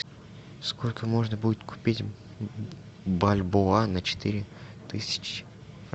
сколько можно будет купить бальбоа на четыре тысячи